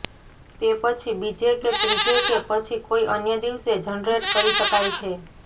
તે પછી બીજે કે ત્રીજે કે પછી કોઈ અન્ય દિવસે જનરેટ કરી શકાય છે